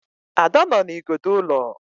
Ada nọ na igodo ụlọ